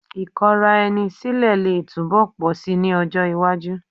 Ì̀kọra-ẹni sílẹ̀ lè túbọ̀ pọ̀ síi ní ọjọ́ iwájú